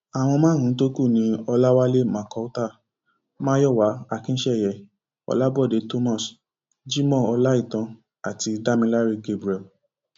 àwọn márùnún tó kú ni ọlàwálẹ macautla mayowa akinseye ọlábòde thomas jimoh ọláìtàn àti damiláré gabriel